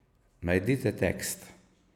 Najdite tekst!